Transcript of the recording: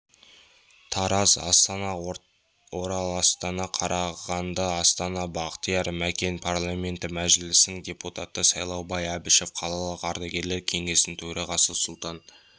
тараз астана ораластана қарағандыастана бақтияр мәкен парламенті мәжілісінің депутаты сайлаубай әбішов қалалық ардагерлер кеңесінің төрағасы сұлтан